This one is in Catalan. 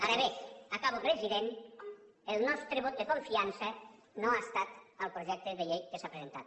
ara bé acabo president el nostre vot de confiança no ha estat al projecte de llei que s’ha presentat